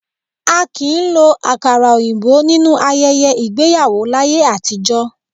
A kì í lo àkàrà òyìnbó nínú ayẹyẹ igbéyàwó láyé àtijọ́